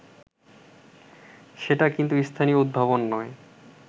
সেটা কিন্তু স্থানীয় উদ্ভাবন নয়